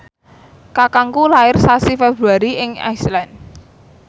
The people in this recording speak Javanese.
kakangku lair sasi Februari ing Iceland